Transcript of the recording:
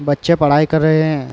बच्चे पढाई कर रहे हैं।